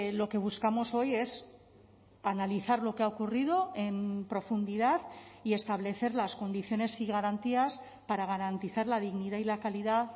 lo que buscamos hoy es analizar lo que ha ocurrido en profundidad y establecer las condiciones y garantías para garantizar la dignidad y la calidad